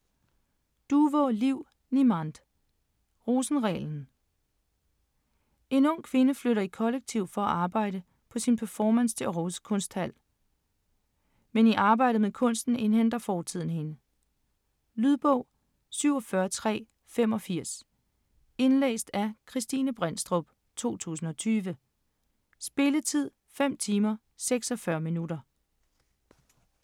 Duvå, Liv Nimand: Rosenreglen En ung kvinde flytter i kollektiv for at arbejde på sin performance til Aarhus Kunsthal. Men i arbejdet med kunsten indhenter fortiden hende. Lydbog 47385 Indlæst af Kristine Brendstrup, 2020. Spilletid: 5 timer, 46 minutter.